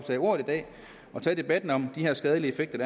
tage ordet i dag og tage debatten om de her skadelige effekter